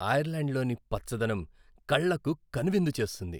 ఐర్లాండ్లోని పచ్చదనం కళ్లకు కనువిందు చేస్తుంది.